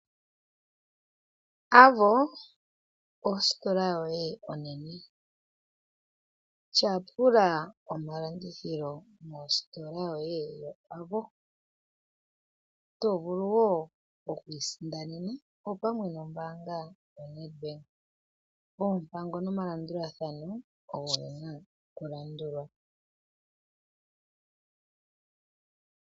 Avo ositola yoye onene. Tyapula omalandithilo mositola yoye yo Aavo. To vulu wo okwiisindanena opamwe no mbaanga yo NEDBANK. Oompango nomalandulathano ogo ge na okulandulwa.